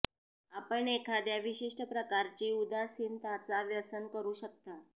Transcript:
आपण एखाद्या विशिष्ट प्रकारची उदासीनताचा व्यसन करू शकता